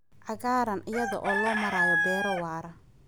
cagaaran iyada oo loo marayo beero waara.